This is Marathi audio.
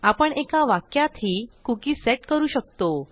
आपण एका वाक्यातही कुकी सेट करू शकतो